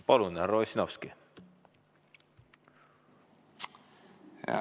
Palun, härra Ossinovski!